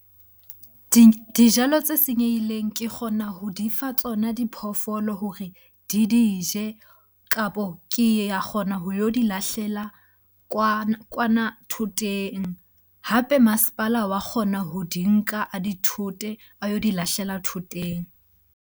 Dijalo tse senyehileng kee kgona ho di fa tsona diphoofolo hore di di je kapo ke a kgona ho yo di lahlela kwana thoteng. Hape masepala wa kgona ho di nka a di thote a yo di lahlela thoteng.